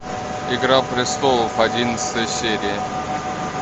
игра престолов одиннадцатая серия